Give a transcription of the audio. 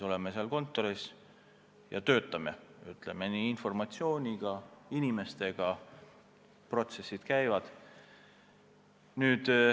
Oleme seal kontoris ja töötame, ütleme nii, informatsiooniga, inimestega – protsess käib.